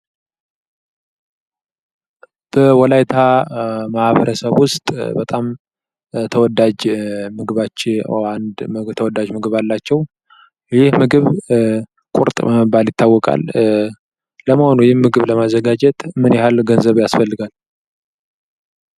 በወላይታ ማህበረሰብ ውስጥ በጣም ተወዳጅ ምግባቸው ውስጥ አንድ ተወዳጅ ምድብ አላቸው። ይህ ምግብ ቁርጥ በመባል ይታወቃል። ለመሆኑ ይህን ምግብ ለማዘጋጀት ምን ያህል ገንዘብ ያሰፈልጋል?